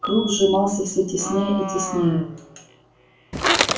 круг сжимался всё теснее и теснее